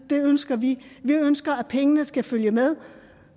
det ønsker vi vi ønsker at pengene skal følge med